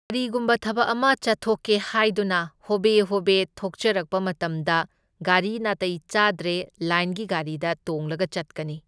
ꯀꯔꯤꯒꯨꯝꯕ ꯊꯕꯛ ꯑꯃ ꯆꯠꯊꯣꯛꯀꯦ ꯍꯥꯏꯗꯨꯅ ꯍꯣꯕꯦ ꯍꯣꯕꯦ ꯊꯣꯛꯆꯔꯛꯄ ꯃꯇꯝꯗ ꯒꯥꯔꯤ ꯅꯥꯇꯩ ꯆꯥꯗ꯭ꯔꯦ ꯂꯥꯏꯟꯒꯤ ꯒꯥꯔꯤꯗ ꯇꯣꯡꯂꯒ ꯆꯠꯀꯅꯤ꯫